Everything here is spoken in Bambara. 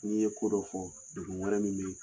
N'i ye ko dɔ fɔ, dugu wɛrɛ min bɛ